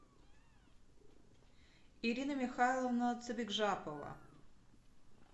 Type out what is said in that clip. ирина михайловна цыбикжапова